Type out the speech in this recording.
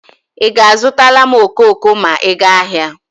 Ị ga-azụtala m okoko ma ị gaa ahịa.